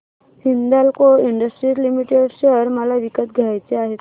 Hindalco Industries Limited share मला विकत घ्यायचे आहेत